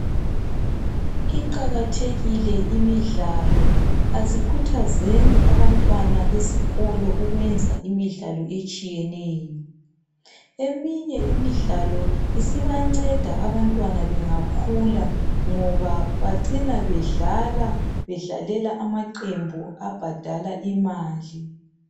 Iqakathekile imidlalo asikhuthazeni abantwana esikolo ukuyenze imidlalo etshiyeneyo eminye imidlalo isibanceda abantwana bengakhula ngoba bacina bedlala bedlalela amaqembu abhadala imali.